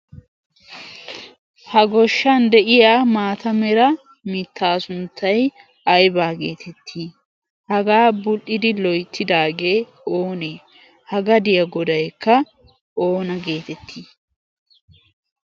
Ha goshshan de'iya maata mera mittaasunttay aybaa geetettii? Hagaa bul'idi loyittidaagee onee? Ha gadiya godayika ona geetettii?